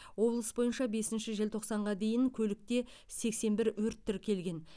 облыс бойынша бесінші желтоқсанға дейін көлікте сексен бір өрт тіркелген